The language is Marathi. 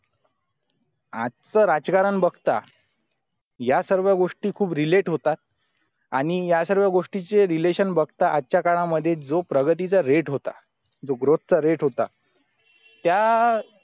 आजचा राजकारण बघता या सर्व गोष्टी खूप relate होतात आणि या सर्व गोष्टींची relation बघता आजच्या काळामध्ये जो प्रगतीचा rate होता जो growth चा rate होता त्या